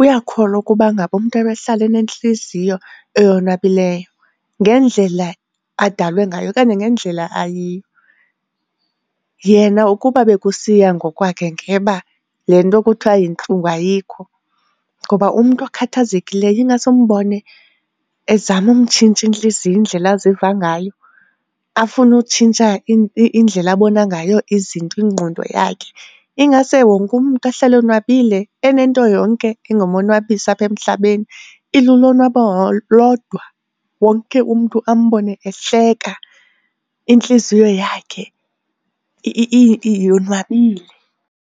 uyakholwa ukuba ngaba umntu ahlale enentliziyo eyonwabileyo ngendlela adalwe ngayo okanye ngendlela ayiyo. Yena ukuba bekusiya ngokwakhe ngeba le nto kuthiwa yintlungu ayikho ngoba umntu okhathazekileyo ingase umbone ezama umtshintsha intliziyo indlela aziva ngayo, afune utshintsha indlela abona ngayo izinto, ingqondo yakhe. Ingase wonke umntu ahlale onwabile enento yonke engamonwabisa apha emhlabeni, ilulonwabo lodwa, wonke umntu ambone ehleka intliziyo yakhe yonwabile.